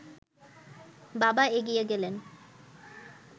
বাবা এগিয়ে গেলেন